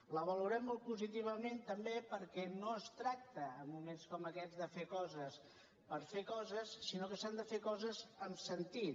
la valorem molt positivament també perquè no es tracta en moments com aquests de fer coses per fer coses sinó que s’han de fer coses amb sentit